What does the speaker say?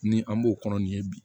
Ni an b'o kɔnɔ nin ye bi